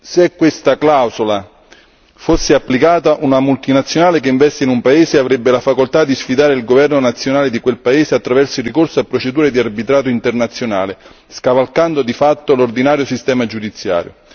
Se questa clausola fosse applicata, una multinazionale che investe in un paese avrebbe la facoltà di sfidare il governo nazionale di quel paese attraverso il ricorso a procedure di arbitrato internazionale, scavalcando di fatto l'ordinario sistema giudiziario.